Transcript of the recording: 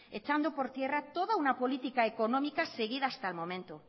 echando por tierra toda una política económica seguida hasta el momento